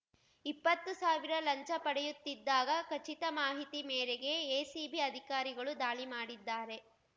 ಇಪ್ಪತ್ತು ಸಾವಿರ ಲಂಚ ಪಡೆಯುತ್ತಿದ್ದಾಗ ಖಚಿತ ಮಾಹಿತಿ ಮೇರೆಗೆ ಎಸಿಬಿ ಅಧಿಕಾರಿಗಳು ದಾಳಿ ಮಾಡಿದ್ದಾರೆ